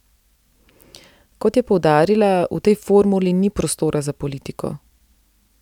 Kot je poudarila, v tej formuli ni prostora za politiko.